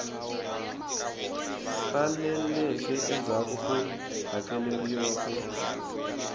saleleke endzhaku ko hakeleriwa wu